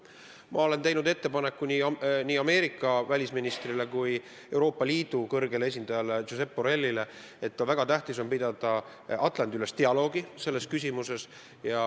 Ma olen teinud ettepaneku nii Ameerika välisministrile kui ka Euroopa Liidu välisasjade kõrgele esindajale Josep Borellile, et väga tähtis on pidada Atlandi-ülest dialoogi selles küsimuses.